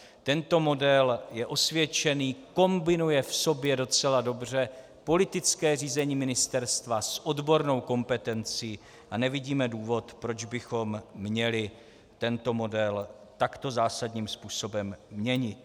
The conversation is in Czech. Tento model je osvědčený, kombinuje v sobě docela dobře politické řízení ministerstva s odbornou kompetencí a nevidíme důvod, proč bychom měli tento model takto zásadním způsobem měnit.